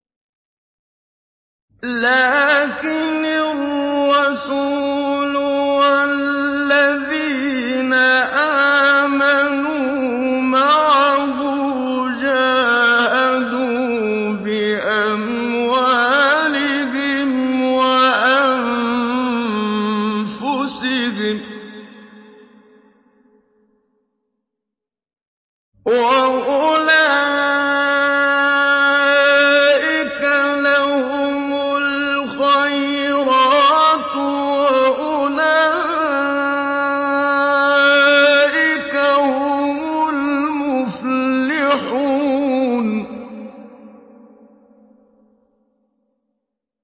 لَٰكِنِ الرَّسُولُ وَالَّذِينَ آمَنُوا مَعَهُ جَاهَدُوا بِأَمْوَالِهِمْ وَأَنفُسِهِمْ ۚ وَأُولَٰئِكَ لَهُمُ الْخَيْرَاتُ ۖ وَأُولَٰئِكَ هُمُ الْمُفْلِحُونَ